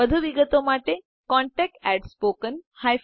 વધુ વિગતો માટે contactspoken tutorialorg ઉપર સંપર્ક કરો